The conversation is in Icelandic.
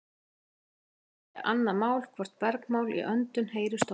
hitt er kannski annað mál hvort bergmál í öndum heyrist oft